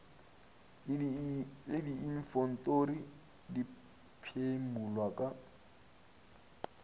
le diinfentori di phimolwa ka